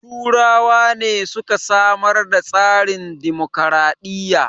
Turawa ne suka samar da tsarin dimokraɗiya